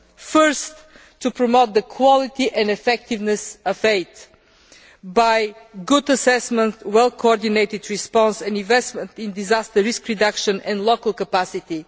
Firstly, we need to promote the quality and effectiveness of aid by good assessment, a well coordinated response and investment in disaster risk reduction and local capacity.